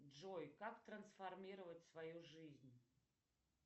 джой как трансформировать свою жизнь